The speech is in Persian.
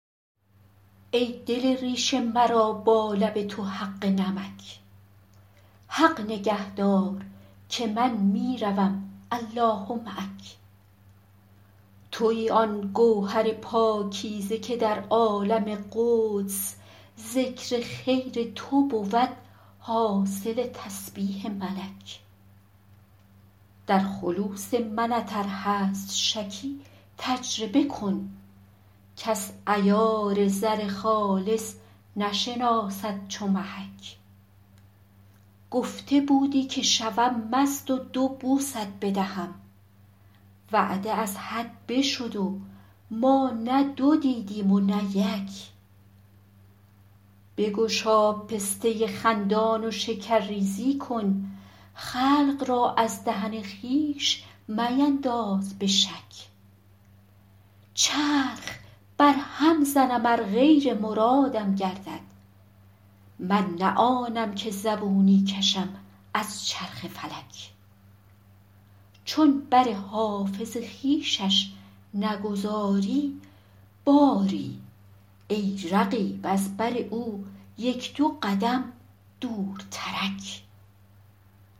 ای دل ریش مرا با لب تو حق نمک حق نگه دار که من می روم الله معک تویی آن گوهر پاکیزه که در عالم قدس ذکر خیر تو بود حاصل تسبیح ملک در خلوص منت ار هست شکی تجربه کن کس عیار زر خالص نشناسد چو محک گفته بودی که شوم مست و دو بوست بدهم وعده از حد بشد و ما نه دو دیدیم و نه یک بگشا پسته خندان و شکرریزی کن خلق را از دهن خویش مینداز به شک چرخ برهم زنم ار غیر مرادم گردد من نه آنم که زبونی کشم از چرخ فلک چون بر حافظ خویشش نگذاری باری ای رقیب از بر او یک دو قدم دورترک